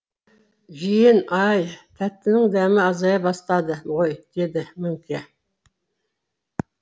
жиен ай тәттінің дәмі азая бастады ғой дейді мөңке